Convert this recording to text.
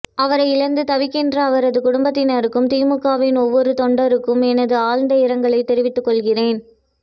அவரை இழந்து தவிக்கின்ற அவரது குடும்பத்தினருக்கும் திமுக வின் ஒவ்வொரு தொண்டருக்கும் எனது ஆழ்ந்த இரங்கலை தெரிவித்துக்கொள்கிறேன்